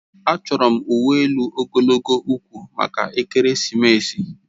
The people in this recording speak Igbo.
Achọrọ m uwe elu ogologo ugwu aka maka ekeresimesi